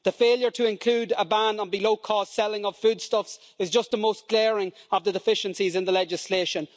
The failure to include a ban on below cost selling of foodstuffs is just the most glaring of the deficiencies in the proposed legislation.